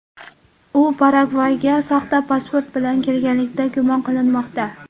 U Paragvayga soxta pasport bilan kirganlikda gumon qilinmoqda.